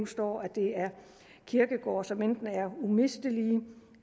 står at det er kirkegårde som enten er umistelige